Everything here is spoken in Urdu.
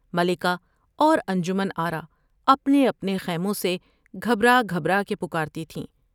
ملکہ اور انجمن آرا اپنے اپنے خیموں سے گھبرا گھبرا کے پکارتی تھیں ۔